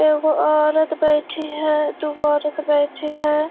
एक औरत बैठी है दु गो औरत बैठी है।